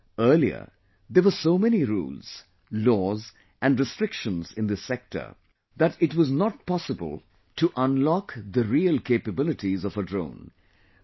Friends, earlier there were so many rules, laws and restrictions in this sector that it was not possible to unlock the real capabilities of a drone